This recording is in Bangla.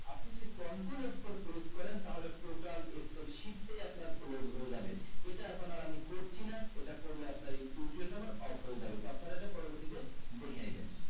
আপনি যদি control f four press করেন তাহলে total f four sheet এ আপনার close হয়ে যাবে এটা এখন আর আমি করছি না এটা করলে আপনার এই tutorial টা আমার off হয়ে যাবে তো আপনারা আমার পর বর্তীতে দেখে নিবেন